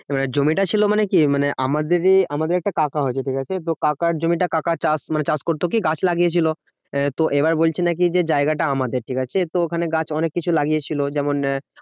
মানে জমিটা ছিল মানে কি মানে আমাদেরই আমাদের একটা কাকা হয় ঠিকাছে? তো কাকার জমিটা কাকা চাষ মানে চাষ করতো কি গাছ লাগিয়ে ছিল। আহ তো এবার বলছে নাকি যে জায়গাটা আমাদের, ঠিকাছে তো ওখানে গাছ অনেককিছু লাগিয়েছিল। যেমন আহ